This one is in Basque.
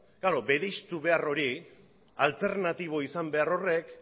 noski bereiztu behar hori alternatibo izan behar horrek